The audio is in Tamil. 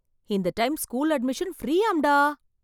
இந்த டைம் ஸ்கூல் அட்மிஷன் ஃபிரீயாம்டா!